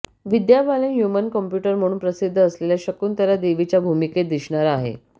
विद्या Balan human computer म्हणून प्रसिद्ध असलेल्या शकुंतला देवीच्या भूमिकेत दिसणार आहे